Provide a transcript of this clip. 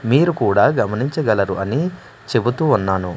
మీరు కూడా గమనించగలరు అని చెబుతూ ఉన్నాను.